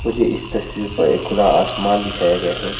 मुझे इस तस्वीर पर एक खुला आसमान दिखाया गया है।